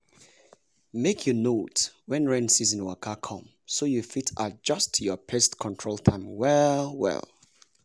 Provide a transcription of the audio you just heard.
make you note when rain season waka come so you fit adjust your pest control time well-well.